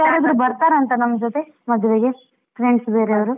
ಬೇರೆ ಯಾರಾದ್ರೂ ಬರ್ತಾರಂತ ನಂಜೊತೆ, ಮದುವೆಗೆ friends ಬೇರೆಯವರು.